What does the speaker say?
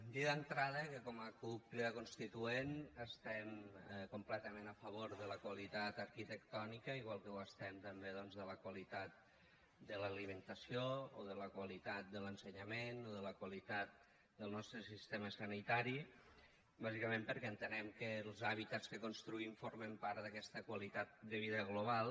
dir d’entrada que com a cup crida constituent estem completament a favor de la qualitat arquitectònica igual que ho estem també doncs de la qualitat de l’alimentació o de la qualitat de l’ensenyament o de la qualitat del nostre sistema sanitari bàsicament perquè entenem que els hàbitats que construïm formen part d’aquesta qualitat de vida global